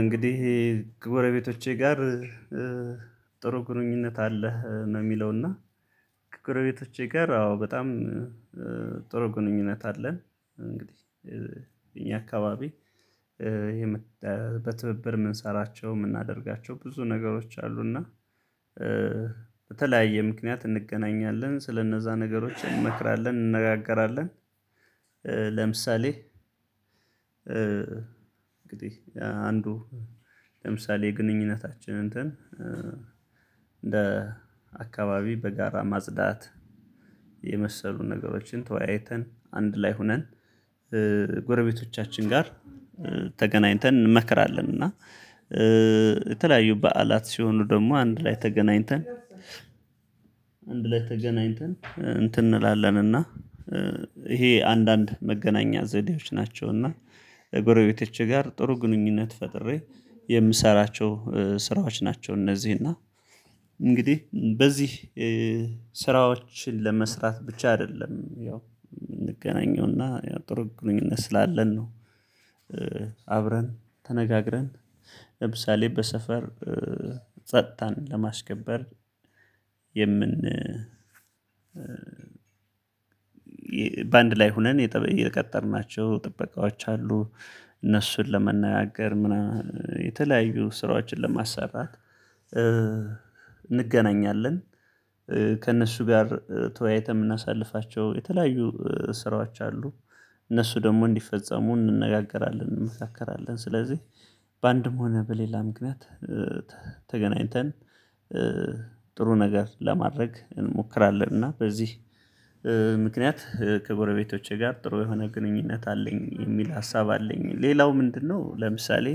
እንግዲህ የክቡረ ቤቶቼ ጋር ጥሩ ግንኙነት አለህ ነው የሚለው እና ከጎረቤቶቼ ጋር አዎ በጣም ጥሩ ግንኙነት አለን። እኛ አካባቢ በትብብር የምንሰራቸው የምናደርጋቸው ብዙ ነገሮች አሉና በተለያየ ምክንያት እንገናኛለን ስለነዛ ነገሮች እንመክራለን እንነጋገራለን። ለምሳሌ እንግዲህ አንዱ ለምሳሌ ግንኙነታችን እንትን እንደ አካባቢ በጋራ ማጽዳት የመሰሉ ነገሮችን ተወያይተን አንድ ላይ ሆነን ጎረቤቶቻችን ጋር ተገናኝተን እንመከራለን እና የተለያዩ በዓላት ሲሆኑ ደግሞ አንድ ላይ ተገናኝተን አንድ ላይ ተገናኝተን እንትን እንላለን እና ይሄ አንዳንድ መገናኛ ዘዴዎች ናቸው እና እጎረቤቶቼ ጋር ጥሩ ግንኙነት ፈጥሬ የምሰራቸው ስራዎች ናቸው። እነዚህ እና እንግዲህ በዚህ ስራዎችን ለመስራት ብቻ አይደለም ያው እንገናኘውና ያው ጥሩ ግንኙነት ስላለን ነው። አብረን ተነጋግረን ለምሳሌ በሰፈር ጸጥታን ለማስከበር የምን በአንድ ላይ ሆነን የቀጠርናቸው ጥበቃዎች አሉ እነሱን ለመናገር ምናምን የተለያዩ ስራዎችን ለማሰራት እንገናኛለን። ከእነሱ ጋር ተወያይተን የምናሳልፋቸው የተለያዩ ስራዎች አሉ እነሱ ደግሞ እንዲፈጸሙ እንነጋገራለን እንመካከራለን ስለዚህ በአንድም ሆነ በሌላ ምክንያት ተገናኝተን ጥሩ ነገር ለማድረግ እንሞክራለን እና በዚህ ምክንያት ከጎረቤቶቼ ጋር ጥሩ የሆነ ግንኙነት አለኝ የሚል ሀሳብ አለኝ። ሌላው ምንድነው ለምሳሌ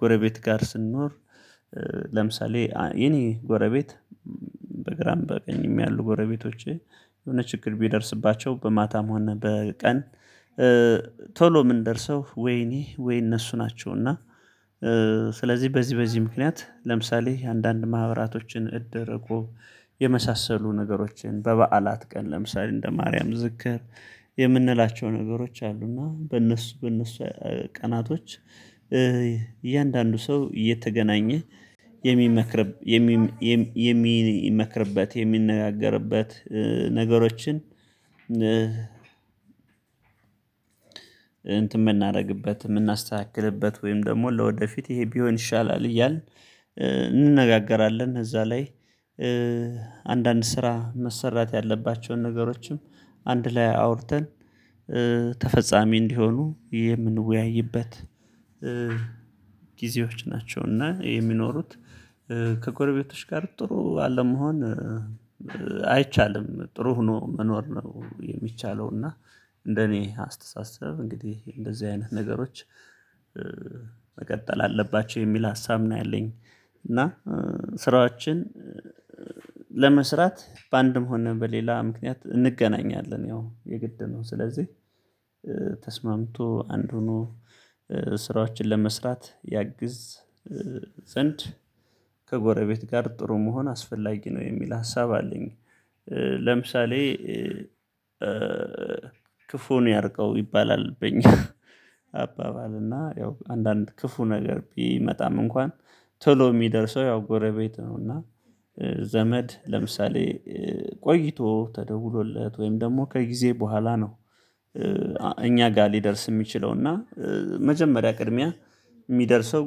ጎረቤት ጋር ስንኖር ለምሳሌ የኔ ጎረቤት በግራም በቀኝም ያሉ ጎረቤቶቼ የሆነ ችግር ቢደርስባቸው በማታም ሆነ በቀን ቶሎ የምንደርሰው ወይኔ ወይ እነሱ ናቸው እና ስለዚህ በዚህ በዚህ ምክንያት ለምሳሌ አንዳንድ ማህበራቶችን እድር እቁብ የመሳሰሉ ነገሮችን በበዓላት ቀን ለምሳሌ እንደ ማርያም ዝክር የምንላቸው ነገሮች አሉ። እና በእነሱ በእነሱ ቀናቶች እያንዳንዱ ሰው እየተገናኘ የሚመክር የሚመክርበት የሚነጋገርበት ነገሮችን የምናደርግበት የምናስተካክልበት ወይም ደግሞ ለወደፊት ይሄ ቢሆን ይሻላል እያልን እንነጋገራለን እዛ ላይ አንዳንድ ስራ መሰራት ያለባቸውን ነገሮችም አንድ ላይ አውርተን ተፈጻሚ እንዲሆኑ የምንወያይበት ጊዜዎች ናቸው። እና ይሄ የሚኖሩት ከጎረቤቶች ጋር ጥሩ አለመሆን አይቻልም ጥሩ ሆኖ መኖር ነው የሚቻለው እና እንደኔ አስተሳሰብ እንግዲህ እንደዚህ አይነት ነገሮች መቀጠል አለባቸው የሚል ሀሳብ ነው ያለኝ። ስራዎችን ለመስራት በአንድ መሆን ነው በሌላ ምክንያት እንገናኛለን ያው የግድ ነው ስለዚህ ተስማምቶ አንዱኑ ስራዎችን ለመስራት ያግዝ ዘንድ ከጎረቤት ጋር ጥሩ መሆን አስፈላጊ ነው የሚል ሀሳብ አለኝ። ለምሳሌ ክፉን ያርቀው ይባላል በኛ አባባል እና ያው አንዳንድ ክፉ ነገር ቢመጣም እንኳን ቶሎ የሚደርሰው ያው ጎረቤት ነው እና ዘመድ ለምሳሌ ቆይቶ ተደውሎለት ወይም ደግሞ ከጊዜ በኋላ ነው። እኛ ጋር ሊደርስ የሚችለው እና መጀመሪያ ቅድሚያ የሚደርሰው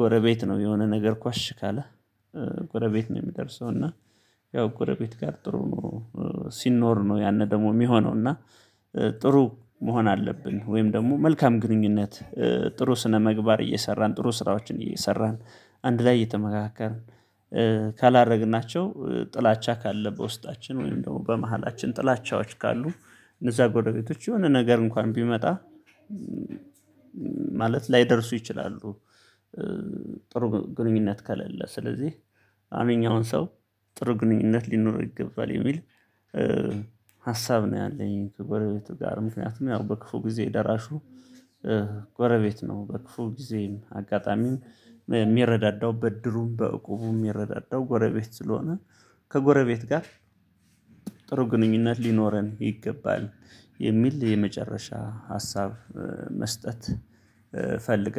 ጎረቤት ነው የሆነ ነገር ኳሽ ካለ ጎረቤት ነው የሚደርሰው እና ያው ጎረቤት ጋር ጥሩ ሲኖር ነው ያን ደግሞ የሚሆነው። እና ጥሩ መሆን አለብን ወይም ደግሞ መልካም ግንኙነት ጥሩ ስነ መግባር እየሰራን ጥሩ ስራዎችን እየሰራን አንድ ላይ እየተመካከርን ካላደረግናቸው ጥላቻ ካለ በውስጣችን ወይም ደግሞ በመሃላችን ጥላቻዎች ካሉ እነዛ ጎረቤቶች የሆነ ነገር እንኳን ቢመጣ ማለት ላይደርሱ ይችላሉ። ጥሩ ግንኙነት ከሌለ ስለዚህ አሁን አሁን ሰው ጥሩ ግንኙነት ሊኖር ይገባል የሚል ሀሳብ ነው ያለኝ ጎረቤቱ ጋር ምክንያቱም ያው በክፉ ጊዜ ደራሹ ጎረቤት ነው በክፉ ጊዜም አጋጣሚም የሚረዳደው በድሩም በቁቡም የሚረዳደው ጎረቤት ስለሆነ ከጎረቤት ጋር ጥሩ ግንኙነት ሊኖረን ይገባል የሚል የመጨረሻ ሀሳብ መስጠት ፈልጋለሁ